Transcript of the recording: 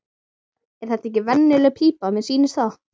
Er þetta ekki bara venjuleg pípa, mér sýnist það.